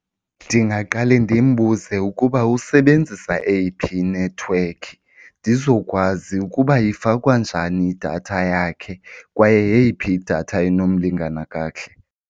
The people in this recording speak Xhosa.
Ndingaqale ndimbuze ukuba usebenzisa eyiphi inethiwekhi ndizokwazi ukuba ifakwa njani idatha yakhe kwaye yeyiphi idatha enomlingana kakuhle.